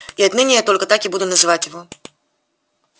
и отныне я только так и буду называть его